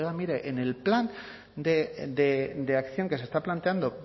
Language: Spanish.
mire en el plan de acción que se está planteando